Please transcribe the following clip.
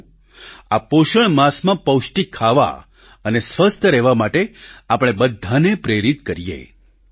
આવો આ પોષણ માસમાં પૌષ્ટિક ખાવા અને સ્વસ્થ રહેવા માટે આપણે બધાને પ્રેરિત કરીએ